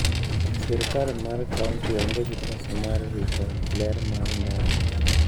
Sirkal mar kaunti onge gi pesa mar rito ler mar ndara.